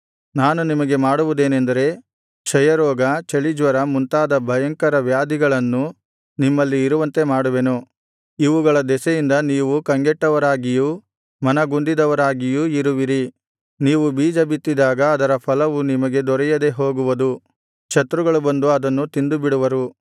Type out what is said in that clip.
ನಾನು ನಿಮಗೆ ಮಾಡುವುದೇನೆಂದರೆ ಕ್ಷಯರೋಗ ಚಳಿಜ್ವರ ಮುಂತಾದ ಭಯಂಕರ ವ್ಯಾಧಿಗಳನ್ನು ನಿಮ್ಮಲ್ಲಿ ಇರುವಂತೆ ಮಾಡುವೆನು ಇವುಗಳ ದೆಸೆಯಿಂದ ನೀವು ಕಂಗೆಟ್ಟವರಾಗಿಯೂ ಮನಗುಂದಿದವರಾಗಿಯೂ ಇರುವಿರಿ ನೀವು ಬೀಜಬಿತ್ತಿದಾಗ ಅದರ ಫಲವು ನಿಮಗೆ ದೊರೆಯದೆ ಹೋಗುವುದು ಶತ್ರುಗಳು ಬಂದು ಅದನ್ನು ತಿಂದುಬಿಡುವರು